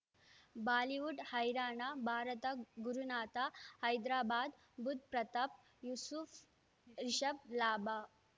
Bollywood ಹೈರಾಣ ಭಾರತ ಗುರುನಾಥ ಹೈದರಾಬಾದ್ ಬುಧ್ ಪ್ರತಾಪ್ ಯೂಸುಫ್ ರಿಷಬ್ ಲಾಭ